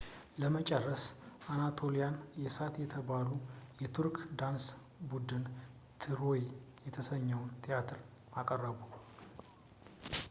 ለመጨረስ የአናቶሊያ እሳት የተባለው የቱርክ የዳንስ ቡድን ትሮይ የተሰኘውን ትርኢት አቀረቡ